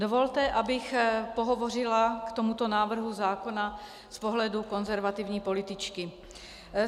Dovolte, abych pohovořila k tomuto návrhu zákona z pohledu konzervativní političky.